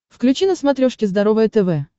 включи на смотрешке здоровое тв